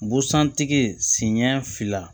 Busan tigiɲɛ fila